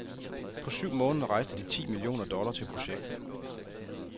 På syv måneder rejste de ti millioner dollar til projektet.